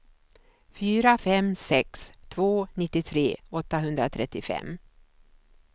fyra fem sex två nittiotre åttahundratrettiofem